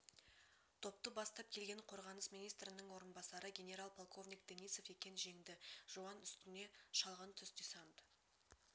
топты бастап келген қорғаныс министрінің орынбасары генерал полковник денисов екен жеңді жуан үстіне шалғын түс десант